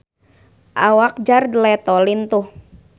Awak Jared Leto lintuh